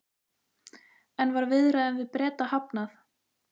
En var viðræðum við Breta hafnað?